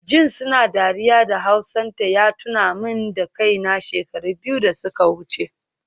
Jin suna dariya da hausanta ya tuna min da kaina, shekaru biyu da suka wuce